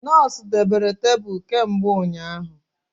Nọọsụ debere tebụl kemgbe ụnyaahụ